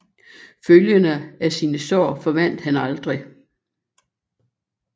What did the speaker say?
Følgerne af sine sår forvandt han aldrig